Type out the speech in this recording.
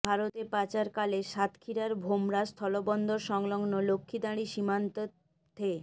ভারতে পাচারকালে সাতক্ষীরার ভোমরা স্থলবন্দর সংলগ্ন লক্ষিদাঁড়ি সীমান্ত থে